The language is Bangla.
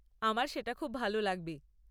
আমার সেটা খুব ভাল লাগবে!